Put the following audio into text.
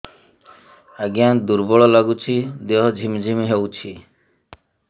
ଆଜ୍ଞା ଦୁର୍ବଳ ଲାଗୁଚି ଦେହ ଝିମଝିମ ହଉଛି